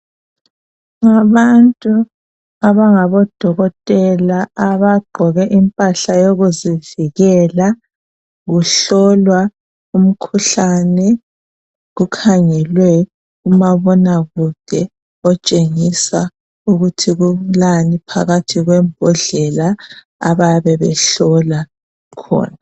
Abantu abangabodokotela abagqoke impahla yokuzivikela kuhlolwa umkhuhlane kukhangelwe umabona kude otshengisa ukuthi kulani phakathi kwembodlela abayabe behlola khona.